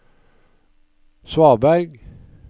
svaberg